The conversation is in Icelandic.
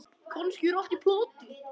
Kannski er allt í plati.